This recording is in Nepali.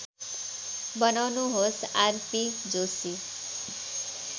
बनाउनुहोस् आरपी जोशी